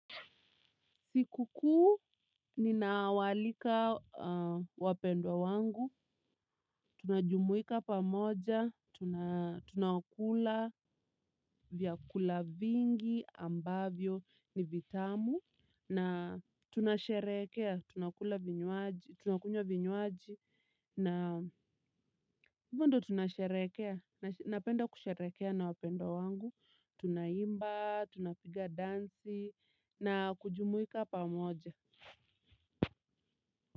Siku kuu, ninawalika wapendwa wangu, tunajumuika pamoja, tunakula, vyakula vingi, ambavyo ni vitamu, na tunasherekea, tunakunyo vinyuaji, na hivyo ndo tunasherekea, napenda kusherekea na wapendwa wangu, tunaimba, tunapiga dansi, na kujumuika pamoja.